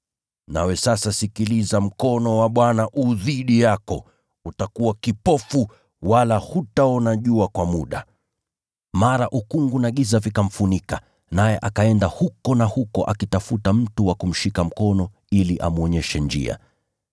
Nawe sasa sikiliza, mkono wa Bwana u dhidi yako. Utakuwa kipofu, wala hutaona jua kwa muda.” Mara ukungu na giza vikamfunika, naye akaenda huku na huko akitafuta mtu wa kumshika mkono ili amwonyeshe njia.